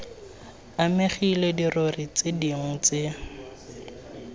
amegile dirori tse dingwe tse